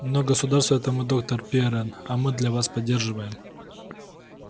но государство это мы доктор пиренн а мы вас не поддерживаем